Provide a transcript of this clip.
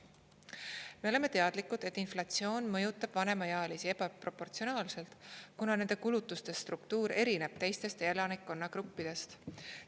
Me oleme teadlikud, et inflatsioon mõjutab vanemaealisi ebaproportsionaalselt, kuna nende kulutuste struktuur erineb teistest elanikkonnagruppidest.